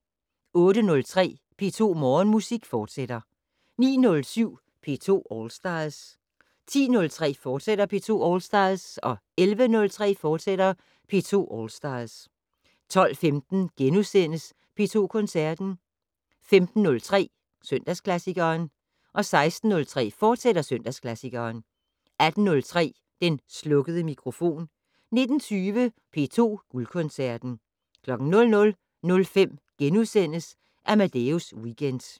08:03: P2 Morgenmusik, fortsat 09:07: P2 All Stars 10:03: P2 All Stars, fortsat 11:03: P2 All Stars, fortsat 12:15: P2 Koncerten * 15:03: Søndagsklassikeren 16:03: Søndagsklassikeren, fortsat 18:03: Den slukkede mikrofon 19:20: P2 Guldkoncerten 00:05: Amadeus Weekend *